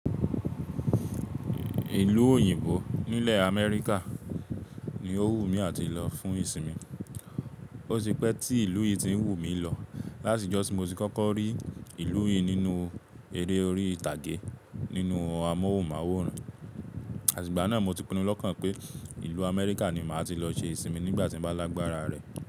Ìlú òyìnbó nílẹ̀ America ni ó wù mí àti lọ fún ìsinmi. Ó ti pẹ́ tí ìlú yìí ti ń wù mí lọ láti ìjọ̀ ti mo ti kọ́kọ́ rí ìlú yìí nínú eré orí ìtàgé nínú amóhùnmáwòrán. Àti ìgbà náà mo ti pinnu lọ́kàn pé ìlú America ni màá ti lọ ṣe ìsinmi nígbà tí mo bá lágbára rẹ̀